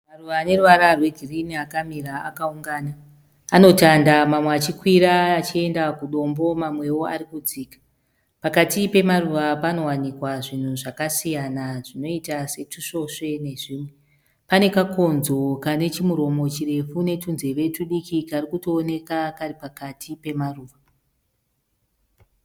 Maruva aneruva rwegirinhi akamira akaungana. Anotanda mamwe achikwira achienda kudombo mamwewo ari kudzika. Pakati pemaruva panowanikwa zvinhu zvakasiyana zvinoita setusvosve nezvimwe. Pane kakonzo kane kamuromo karefu netunzeve tudiki kari kutoonekwa kari pakati pemaruva.